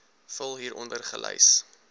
vul hieronder gelys